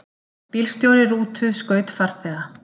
Bílstjóri rútu skaut farþega